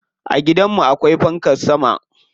A gidan mu akwai fankar sama.